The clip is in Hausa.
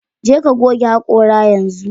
Jeka goge hakora yanzu